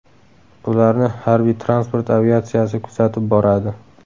Ularni Harbiy-transport aviatsiyasi kuzatib boradi.